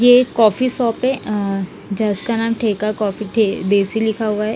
ये एक coffee shop है जिसका नाम है ठेका कॉफी ठे देशी लिखा हुआ है।